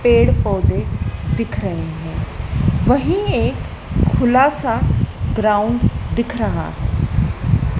पेड़ पौधे दिख रहे हैं वही एक खुला सा ग्राउंड दिख रहा है।